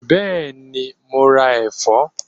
Bẹ́ẹ̀ni, mo ra ẹ̀fọ́?